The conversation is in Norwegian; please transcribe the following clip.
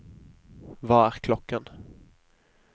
hva er klokken